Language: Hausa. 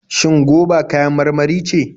Shin goba kayan marmari ce?